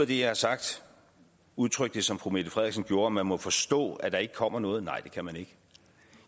det jeg har sagt udtrykke som fru mette frederiksen gjorde man må forstå at der ikke kommer noget nej det kan man ikke